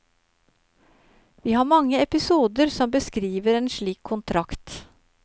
Vi har mange episoder som beskriver en slik kontrakt.